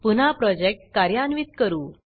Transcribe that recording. पुन्हा प्रोजेक्ट कार्यान्वित करू